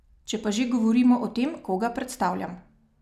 Če pa že govorimo o tem, koga predstavljam.